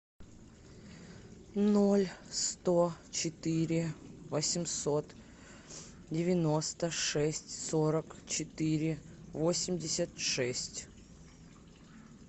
ноль сто четыре восемьсот девяносто шесть сорок четыре восемьдесят шесть